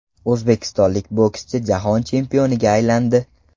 O‘zbekistonlik bokschi jahon chempioniga aylandi.